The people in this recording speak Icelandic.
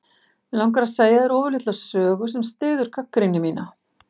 Mig langar að segja þér ofurlitla sögu sem styður gagnrýni mína.